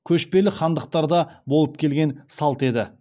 көшпелі хандықтарда болып келген салт еді